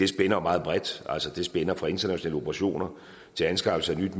spænder jo meget bredt altså det spænder fra internationale operationer til anskaffelse af nyt